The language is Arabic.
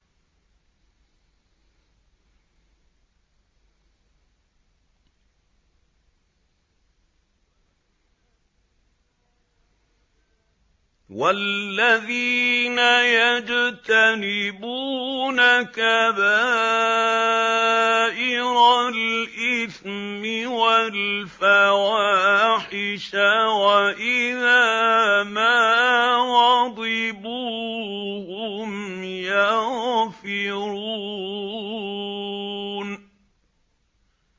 وَالَّذِينَ يَجْتَنِبُونَ كَبَائِرَ الْإِثْمِ وَالْفَوَاحِشَ وَإِذَا مَا غَضِبُوا هُمْ يَغْفِرُونَ